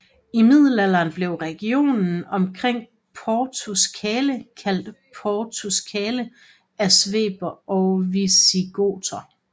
I middelalderen blev regionen omkring Portus Cale kaldt Portucale af Sveber og Visigoter